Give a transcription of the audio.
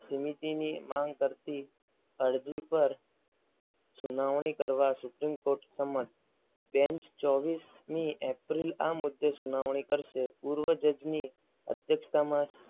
સમિતિની માંગ કરતી અરજી પર સોનાવણી કરવા સુપ્રીમ કોર્ટ સમક્ષ બેંચ ચોવીસમી એપ્રિલ આ મુદ્દે સુનાવણી કરવામાં આવશે. પૂર્વ જજને અધ્યક્ષતામાં